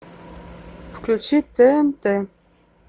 включи тнт